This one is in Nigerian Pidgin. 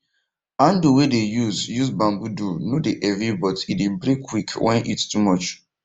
handle way dem use use bamboo do no dey heavy but e dey break quick when heat too much